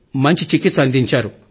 మంచి చికిత్స అందించారు